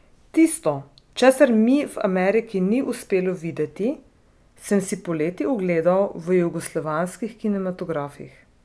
Tisto, česar mi v Ameriki ni uspelo videti, sem si poleti ogledal v jugoslovanskih kinematografih.